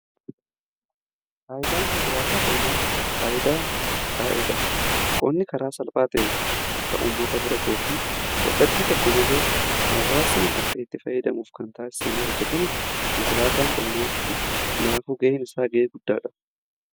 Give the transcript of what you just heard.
Faayidaan konkolaataa qonnaa faayidaa qonni karaa salphaa ta'e akka ummata bira ga'uu fi yadaa tokko malee hawwaasni akka itti fayidamuuf kan taassifamee hojjetame konkolaataa qonnaatti naafu ga'een isaanii ga'ee guddaadha.